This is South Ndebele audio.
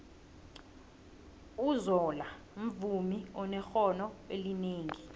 uzola mvumi onexhono elinengi